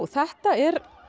þetta er